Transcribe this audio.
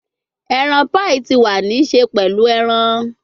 Eran paii ti wa ni ṣe pẹlu eran